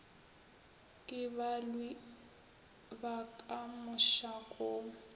ke balwi ba ka mosakong